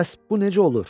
Bəs bu necə olur?